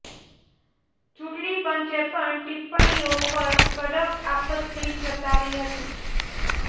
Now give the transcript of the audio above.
ચૂંટણી પંચે પણ ટિપ્પણીઓ પર કડક આપત્તિ જતાવી હતી